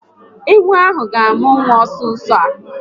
Ewu ahụ ga amụ nwa nso nso a